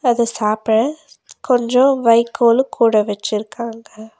அது சாப்ப கொஞ்ஜோ வைக்கோலு கூட வெச்சிருக்காங்க.